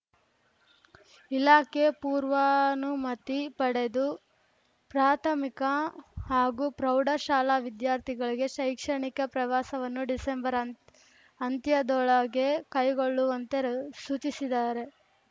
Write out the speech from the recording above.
ಇಲಾಖೆ ಪೂರ್ವಾನುಮತಿ ಪಡೆದು ಪ್ರಾಥಮಿಕ ಹಾಗೂ ಪ್ರೌಢಶಾಲಾ ವಿದ್ಯಾರ್ಥಿಗಳ ಶೈಕ್ಷಣಿಕ ಪ್ರವಾಸವನ್ನು ಡಿಸೆಂಬರ್‌ ಅಂತ್ ಅಂತ್ಯದೊಳಗೆ ಕೈಗೊಳ್ಳುವಂತೆ ಸೂಚಿಸಿದಾರೆ